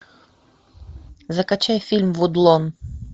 закачай фильм вудлон